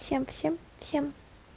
всем-всем-всем